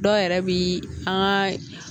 Dɔw yɛrɛ bi an ka